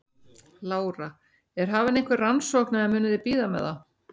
Lára: Er hafin einhver rannsókn eða munuð þið bíða með það?